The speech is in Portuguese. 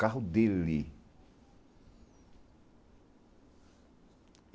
Carro dele.